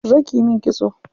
Zo kiyi min kitso.